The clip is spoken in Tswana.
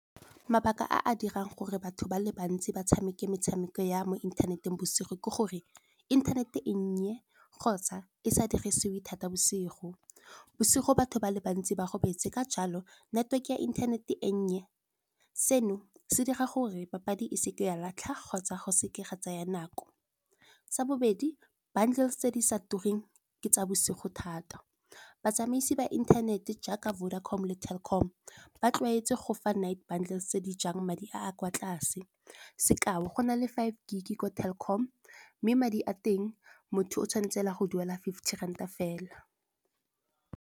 Mabaka a a dirang gore batho ba le bantsi ba tshameke metshameko ya mo inthaneteng bosigo ke gore, inthanete e nnye kgotsa e sa dirisiwe thata bosigo. Bosigo batho ba le bantsi ba robetse ka jalo network ya inthanete e nnye, seno se dira gore papadi e seke ya latlha kgotsa go seke ga tsaya nako. Sa bobedi bundles tse di sa tureng ke tsa bosigo thata, batsamaisi ba inthanete jaaka Vodacom le Telkom ba tlwaetswe go fa night bundles tse di jang madi a a kwa tlase. Sekao go na le five gig ko Telkom mme madi a teng motho o tshwanetse a go duela fifty ranta fela.